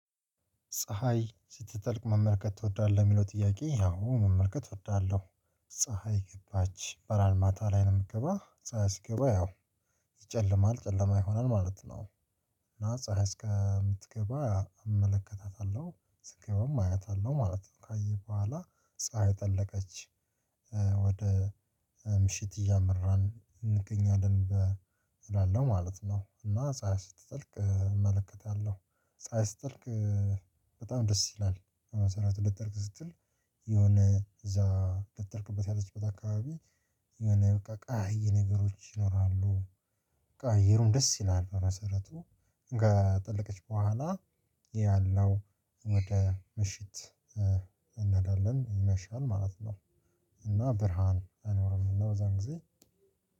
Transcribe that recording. ፀሀይ ስትጠልቅ መመልከት ትወዳለህ የሚለው ጥያቄ አዎ መመልከት እወዳለሁ። ፀሀይ ገባች በራል ማታ ላይ ነው የምትገባው ፀሀይ ሲገባ ያው ይጨልማል ጨለማ ይሆናል ማለት ነው። እና ፀሀይ እስከምትገባ እመለከታታለሁ ስገባም አያታለሁ ማለት ነው። ካየህ በኋላ ፀሀይ ጠለቀች ወደ ምሽት እያመራን እንገኛለን እላለሁ ማለት ነው። እና ፀሀይ ስትጠልቅ እመለከታለሁ። ፀሀይ ስትጠልቅ በጣም ደስ ይላል። በመሰረቱ ልትጠልቅ ስትል የሆነ እዛ ልትጠልቅበት ያለች አካባቢ የሆነ በቃ ቀያይ ነገሮች ይኖራሉ። በቃ አየሩም ደስ ይላል በመሰረቱ። ከ ጠለቀች በኋላ ያለው ወደ ምሽት እንሄዳለን ይመሻል ማለት ነው። እና ብርሃን አይኖርም እና በዛን ጊዜ